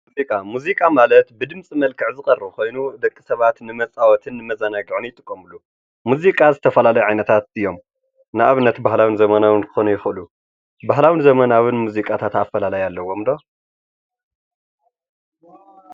ሙዚቃ፡- ሙዚቃ ማለት ብድምፂ መክልዕ ዝቀርብ ኾይኑ ደቂ ሰባት ንመፃወትን ንመዘናግዕን ይጥቀምሉ፡፡ ሙዚቃ ዝተፈላለዩ ዓይነታት እዮም፡፡ ንኣብነት ባህላዊን ዘመናዊን ክኮን ይክእሉ፡፡ ባህላዊን ዘመናዊን ሙዚቃታት ኣፈላላይ ኣለዎም ዶ?